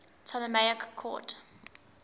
ptolemaic court